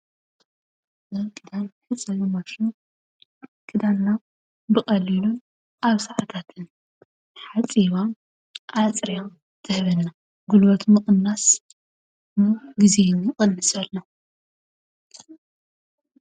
ናይ ክዳን መሕፀቢ ማሽን ክዳንና ብቐሊሉ ኣብ ሰዓታት ሓፂባ፣ ኣፅርያ ትህበና፡፡ ጉልበት ምቕናስ ግዜ ሂቡ ይቕንሰልና፡፡